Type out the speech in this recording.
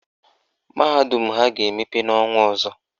Mahadum ha ga-emepe n' ọnwa ọzọ.